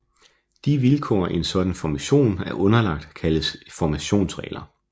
De vilkår en sådan formation er underlagt kaldes formationsregler